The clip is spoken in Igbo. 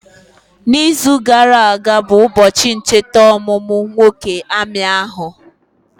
Na izu gara aga bụ ụbọchị ncheta ọmụmụ nwoke amị ahụ